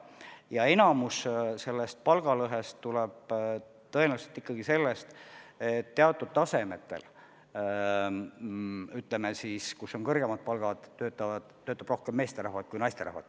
Ja suurem osa sellest palgalõhest tuleb tõenäoliselt ikkagi sellest, et teatud tasemetel, kus on kõrgemad palgad, töötab rohkem meesterahvaid kui naisterahvaid.